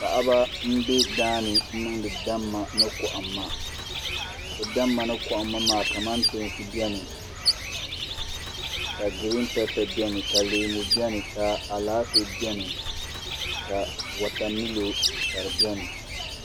Paɣaba n bɛ daani n niŋdi damma ni kohamma bi damma ni kohamma maa kamantoosi biɛni ka giriin pɛpɛ biɛni ka leemu biɛni ka Alaafee biɛni ka wotamilo ka di biɛni